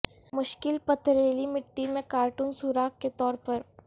مشکل پتھریلی مٹی میں کارٹون سوراخ کے طور پر